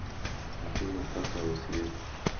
Otimo kaka osiep